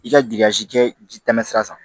I ka kɛ ji tɛmɛsira san